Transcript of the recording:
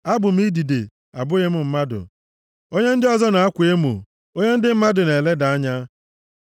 Abụ m idide, abụghị m mmadụ; onye ndị ọzọ na-akwa emo, onye ndị mmadụ na-eleda anya.